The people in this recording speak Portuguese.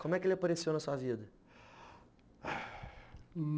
Como é que ele apareceu na sua vida?